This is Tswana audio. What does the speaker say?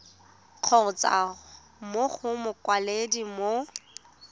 kgotsa mo go mokwaledi mo